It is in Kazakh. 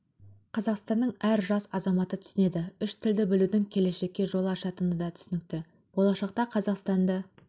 қазақстанның әр жас азаматы түсінеді үш тілді білудің келешекке жол ашатыны да түсінікті болашақта қазақстанды